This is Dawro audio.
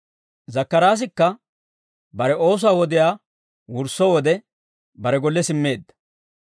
Zakkaraasikka bare oosuwaa wodiyaa wursso wode, bare golle simmeedda.